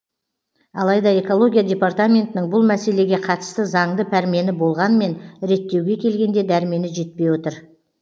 алайда экология департаментінің бұл мәселеге қатысты заңды пәрмені болғанмен реттеуге келгенде дәрмені жетпей отыр